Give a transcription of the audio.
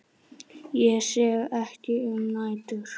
Ég sef ekki um nætur.